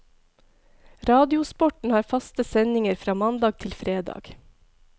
Radiosporten har faste sendinger fra mandag til fredag.